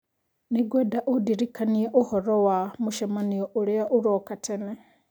nĩ ngwenda ũndirikanie ũhoro wa mũcemanio ũrĩa ũroka tene